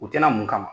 U tɛna mun kama